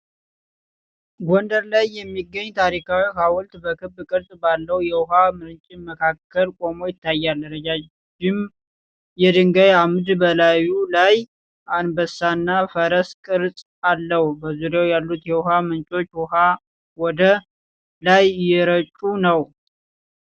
ጎንደር ላይ የሚገኘው ታሪካዊው ሐውልት በክብ ቅርጽ ባለው የውሃ ምንጭ መካከል ቆሞ ይታያል። ረዣዥም የድንጋይ አምድ በላዩ ላይ አንበሳና ፈረስ ቅርጽ አለው። በዙሪያው ያሉት የውሃ ምንጮች ውኃ ወደ ላይ እየረጩ ነው።